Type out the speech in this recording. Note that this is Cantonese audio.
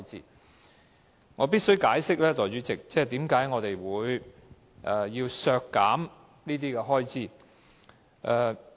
代理主席，我必須解釋，為何我們要削減這些開支。